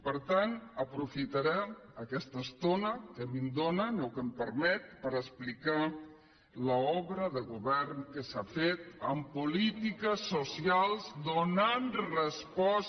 per tant aprofitaré aquesta estona que em dóna o que em permet per explicar l’obra de govern que s’ha fet en polítiques socials donant resposta